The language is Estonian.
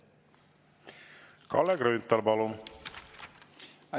Kalle Grünthal, palun!